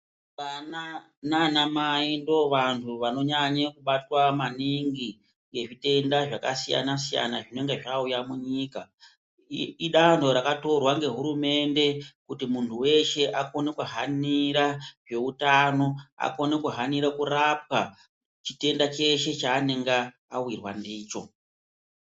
Ana nananai ndovanthu vanonyanya kubatwa maningi ngezvitenda zvakasiyana- siyana zvinonga zvauya munyika idanho rakatorwa ngehurumende kuti munthu weshe akone kuhanira zveutano akone kuhanira kurapwa chitenda cheshe chaanenge awirwa ndicho.